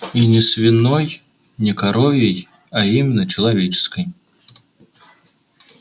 и не свиной не коровьей а именно человеческой